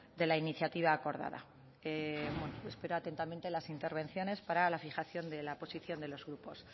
de la iniciativa acordada espero atentamente las intervenciones para la fijación de la posición de los grupos